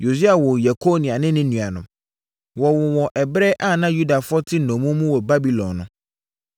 Yosia woo Yekonia ne ne nuanom. Wɔwoo wɔn ɛberɛ a na Yudafoɔ te nnommum mu wɔ Babilon no.